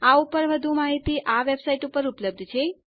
આ ઉપર વધુ માહિતી આ વેબસાઇટ ઉપર ઉપલબ્ધ છે